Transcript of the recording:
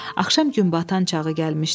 Axşam günbatan çağı gəlmişdi.